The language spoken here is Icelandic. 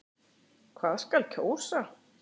Hvað skal kjósa?